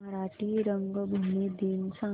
मराठी रंगभूमी दिन सांगा